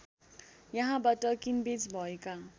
यहाँबाट किनबेच भएका